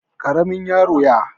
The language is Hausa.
Ƙaramin yaron y